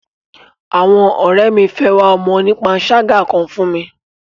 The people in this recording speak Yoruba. Àwọn ọ̀rẹ́ mi fẹ́ wá ọmọ onípanṣágà kan fún mi.